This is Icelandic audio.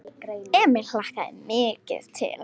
Emil hlakkaði mikið til.